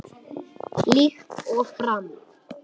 Líkt og fram